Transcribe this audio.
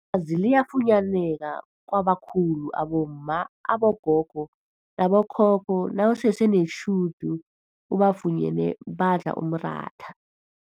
azi liyafunyaneka kwabakhulu abomma, abogogo nabo khokho nawusese netjhudu ubafunyene badla umratha.